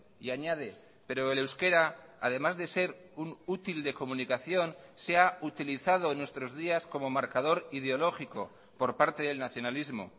y añade pero el euskera además de ser un útil de comunicación se ha utilizado en nuestros días como marcador ideológico por parte del nacionalismo